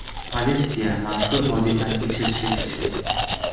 Politsiya mazkur hodisani tekshirishga kirishdi.